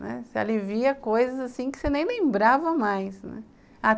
Não é, você alivia coisas assim que você nem lembrava mais, né.